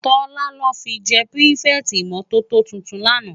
Tola lò fi jè pirifèti imòtótó tútún làná